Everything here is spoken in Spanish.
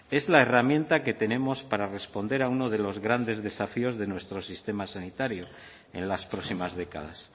es la herramienta que tenemos para responder a uno de los grandes desafíos de nuestro sistema sanitario en las próximas décadas